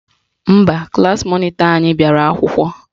Mba, klaasị mọnịtọ anyị bịara akwụkwọ